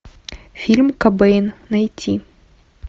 фильм кобейн найти